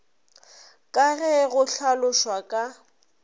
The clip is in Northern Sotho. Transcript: ka ge go hlalošwa ka